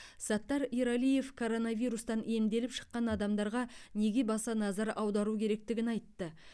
саттар ералиев коронавирустан емделіп шыққан адамдарға неге баса назар аудару керектігін айтты